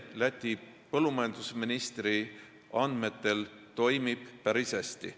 Läti põllumajandusministri andmetel süsteem toimib päris hästi.